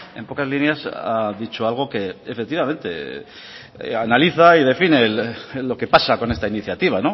en pocas líneas ha dicho algo que efectivamente analiza y define lo que pasa con esta iniciativa